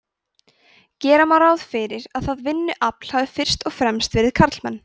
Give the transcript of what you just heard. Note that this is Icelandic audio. gera má ráð fyrir að það vinnuafl hafi fyrst og fremst verið karlmenn